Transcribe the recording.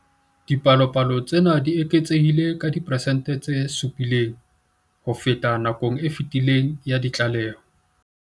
Dipalopalo tsena di eketsehile ka diperesente tse 7 ho feta nakong e fetileng ya ditlaleho.